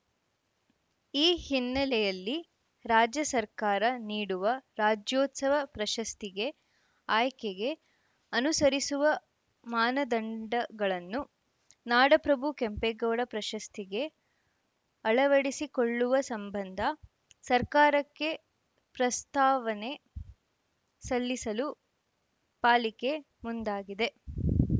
ಈ ಹಿನ್ನೆಲೆಯಲ್ಲಿ ರಾಜ್ಯ ಸರ್ಕಾರ ನೀಡುವ ರಾಜ್ಯೋತ್ಸವ ಪ್ರಶಸ್ತಿಗೆ ಆಯ್ಕೆಗೆ ಅನುಸರಿಸುವ ಮಾನದಂಡಗಳನ್ನು ನಾಡಪ್ರಭು ಕೆಂಪೇಗೌಡ ಪ್ರಶಸ್ತಿಗೆ ಅಳವಡಿಸಿಕೊಳ್ಳುವ ಸಂಬಂಧ ಸರ್ಕಾರಕ್ಕೆ ಪ್ರಸ್ತಾವನೆ ಸಲ್ಲಿಸಲು ಪಾಲಿಕೆ ಮುಂದಾಗಿದೆ